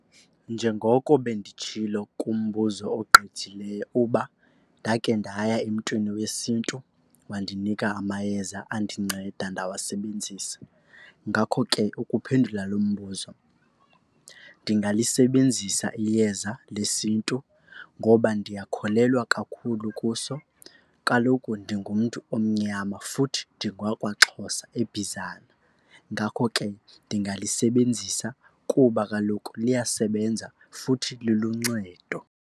Njengoko benditshilo kumbuzo ogqithileyo uba ndake ndaya emntwini wesiNtu wandinika amayeza andinceda ndawasebenzisa. Ngakho ke ukuphendula lo mbuzo, ndingalisebenzisa iyeza lesiNtu ngoba ndiyakholelwa kakhulu kuso. Kaloku ndingumntu omnyama futhi ndingowakwaXhosa eBizana. Ngakho ke ndingalisebenzisa kuba kaloku liyasebenza futhi liluncedo.